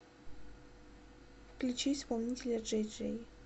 включи исполнителя джэй джэй